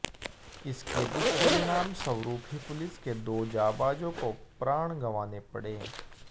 इसके दुष्परिणाम स्वरूप ही पुलिस के दो जांबाजों को प्राण गंवाने पड़े